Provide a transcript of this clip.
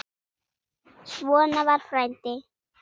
Svona var frændi.